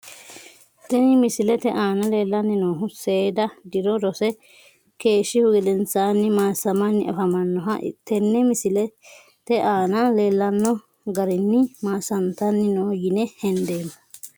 Tini misilete aana leelani noohu seeda diro rose keeshihu gedeensan maasamani afamanoha tene misilete aana leelano garini maasantani no yine hendeemo.